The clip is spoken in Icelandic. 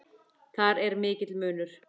Þar er mikill munur.